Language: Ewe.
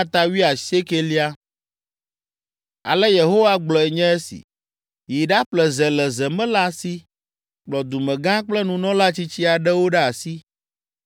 Ale Yehowa gblɔe nye esi: “Yi ɖaƒle ze le zemela si; kplɔ dumegã kple nunɔla tsitsi aɖewo ɖe asi,